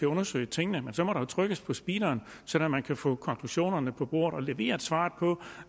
undersøge tingene men så må man trykke på speederen sådan at man kan få konklusionerne på bordet og levere svaret på